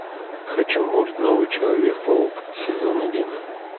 хочу мульт новый человек паук сезон один